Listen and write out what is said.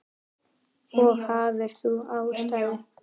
Og hafðir þú ástæðu?